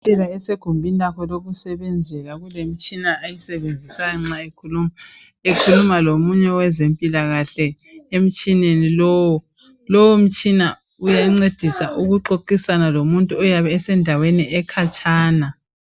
Udokotela esegumbini lakhe lokusebenzela kulemtshina ayisebenzisayo nxa ekhuluma, ekhuluma lomunye wezempilakahle emtshineni lowo. Lowo mtshina uyancedisa ukuxoxisana lomuntu oyabe esendaweni ekhatshana.